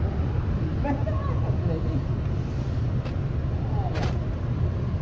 Continua bonito, mas não é tão grande. Aí, aí